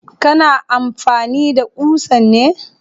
Kana amfani da ƙusan ne?